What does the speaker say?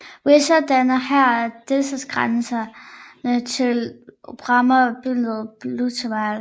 Weser danner her delstatsgrænse til Bremer bydelen Blumenthal